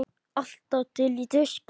Alltaf til í tuskið.